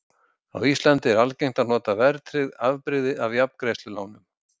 Á Íslandi er algengt að nota verðtryggt afbrigði af jafngreiðslulánum.